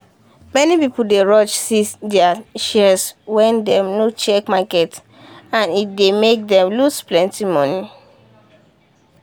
many people dey rush sees their shares wen dem no check market and e dey make dem lose plenty money.